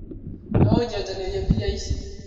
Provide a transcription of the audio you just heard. Noũnjenjanĩrie mbia ici?